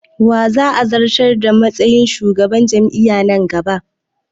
Wa za'a zantar a matsayin shugaban jam'i'an nan gaba?